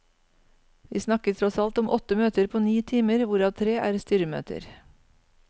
Vi snakker tross alt om åtte møter på ni timer, hvorav tre er styremøter.